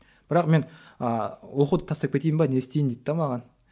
бірақ мен ыыы оқуды тастап кетейін бе не істейін дейді де маған